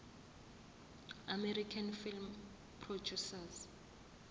american film producers